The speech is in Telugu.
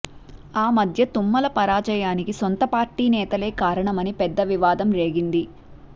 ఆ మధ్య తుమ్మల పరాజయానికి సొంత పార్టీ నేతలే కారణం అని పెద్ద వివాదం రేగింది